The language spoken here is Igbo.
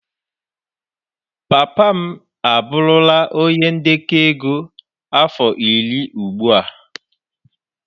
Papa m abụrụla onye ndekọ ego afọ iri ugbu a.